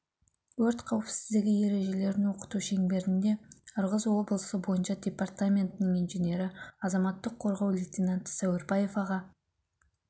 өрт қауіпсіздігі ережелерін оқыту шеңберінде ырғыз облысы бойынша департаментінің инженері азаматтық қорғау лейтенанты сәуірбаев аға